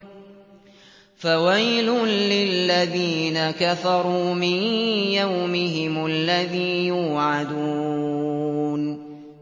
فَوَيْلٌ لِّلَّذِينَ كَفَرُوا مِن يَوْمِهِمُ الَّذِي يُوعَدُونَ